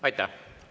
Aitäh!